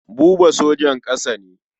Buba sojan ƙasa ne.